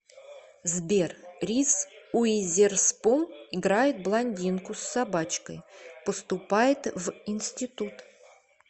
сбер риз уизерспун играет блондинку с собачкой поступает в институт